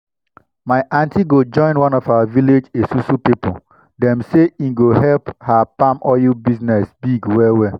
my aunty go join one of our village esusu pipo dem say e go help her palm oil business big well well.